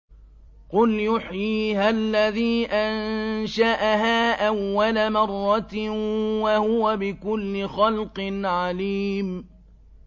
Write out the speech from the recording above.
قُلْ يُحْيِيهَا الَّذِي أَنشَأَهَا أَوَّلَ مَرَّةٍ ۖ وَهُوَ بِكُلِّ خَلْقٍ عَلِيمٌ